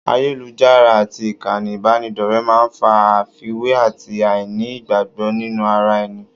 Ayélujára àti ìkànnì ìbánidọ́rẹ̀ẹ́ máa ń fa àfiwé àti àìní ìgbàgbọ́ nínú ara ẹni